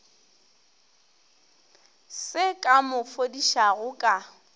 se ka mo fodišago ka